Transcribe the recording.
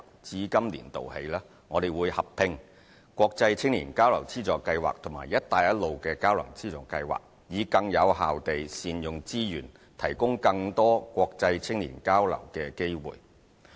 至今年度起，我們會合併國際青年交流資助計劃和"一帶一路"交流資助計劃，以更有效地善用資源，提供更多國際青年交流機會。